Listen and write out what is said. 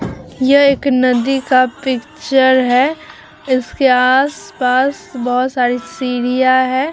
यह एक नदी का पिक्चर है इसके आस-पास बहुत सारी सीढ़ियाँ हैं ।